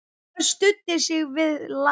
Annar studdi sig við ljá.